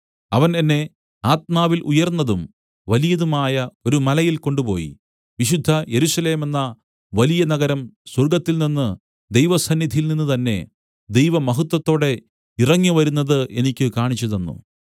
അവൻ എന്നെ ആത്മാവിൽ ഉയർന്നതും വലിയതും ആയ ഒരു മലയിൽ കൊണ്ടുപോയി വിശുദ്ധ യെരൂശലേമെന്ന വലിയ നഗരം സ്വർഗ്ഗത്തിൽനിന്ന് ദൈവസന്നിധിയിൽനിന്ന് തന്നേ ദൈവമഹത്വത്തോടെ ഇറങ്ങി വരുന്നത് എനിക്ക് കാണിച്ചുതന്നു